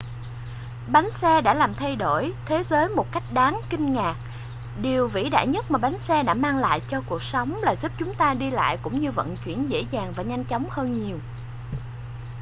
bánh xe đã làm thay đổi thế giới một cách đáng kinh ngạc điều vĩ đại nhất mà bánh xe đã mang lại cho cuộc sống là giúp chúng ta đi lại cũng như vận chuyển dễ dàng và nhanh chóng hơn nhiều